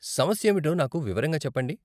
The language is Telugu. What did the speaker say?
సమస్యేమిటో నాకు వివరంగా చెప్పండి.